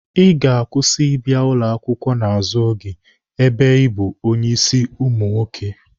Ị ga-akwụsị ịbịa ụlọ akwụkwọ n'azụ oge ebe ị bụ onye ịsị ụmụ nwoke!